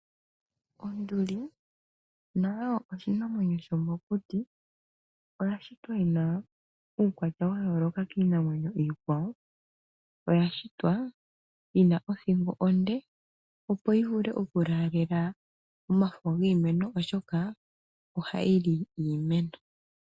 Onduli oshinanwenyo shomokuti oshina uukwatya wayoolola kiinamwenyo iikwawo. Oyashitwa yina otjingo onde opo yi vule oku laalela omafo gomiti shoka oha yili iimeno.